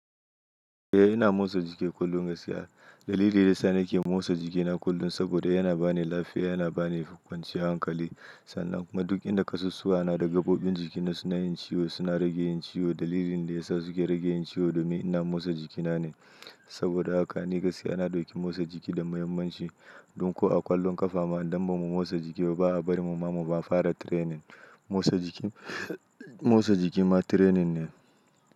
Eh ina motsa jiki kullum gaskiya. Dalili da yasa nake motsa jikina kullum saboda yana ba ni lafiya, yana ba ni kwanciyan hankali. Sannan kuma duk inda kasusuwa na da gaɓoɓin jikina suna yin ciwo, suna rage yin ciwo. Dalilin da ya sa suke rage yin ciwo domin ina motsa jikina ne. Saboda haka ni gaskiya na ɗauki motsa jiki da muhimmanci. Dun ko a ƙwallon ƙafa ma idan ba mu motsa jiki ba, ba a bari mu ma mu fara training. Motsa jiki, motsa jiki ma training ne.